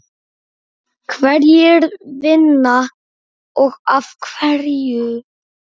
Hverjir vinna og af hverju?